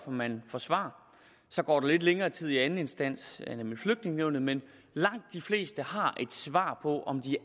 man får svar så går der lidt længere tid i anden instans nemlig flygtningenævnet men langt de fleste har hurtigt et svar på om de